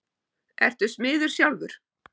Ertu smiður sjálfur?